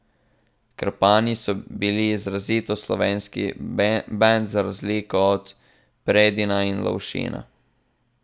Krpani so bili izrazito slovenski bend, za razliko od Predina in Lovšina.